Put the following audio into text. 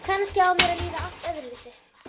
Kannski á mér að líða allt öðruvísi.